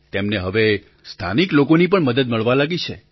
તેમને હવે સ્થાનિક લોકોની પણ મદદ મળવા લાગી છે